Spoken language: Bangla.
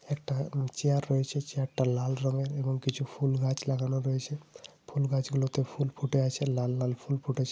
একটা চেয়ার রয়েছে। চেয়ারটা লাল রঙের। এবং কিছু ফুল গাছ লাগানো রয়েছে। ফুল গাছগুলোতে ফুল ফুটে আছে। লাল লাল ফুল ফুটেছে।